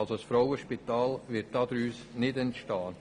Das Frauenspital wird daraus nicht entstehen.